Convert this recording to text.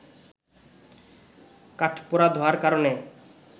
কাঠপোড়া ধোঁয়ার কারণে